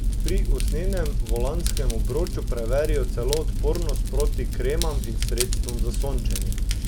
Pri usnjenem volanskem obroču preverijo celo odpornost proti kremam in sredstvom za sončenje.